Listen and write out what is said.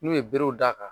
N'u ye berew d'a kan